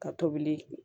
Ka tobili